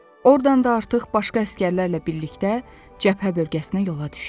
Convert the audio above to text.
Ordan da artıq başqa əsgərlərlə birlikdə cəbhə bölgəsinə yola düşdü.